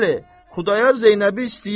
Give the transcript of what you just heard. Bəli, Xudayar Zeynəbi istəyir.